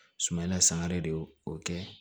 Sumala san wɛrɛ de y'o o kɛ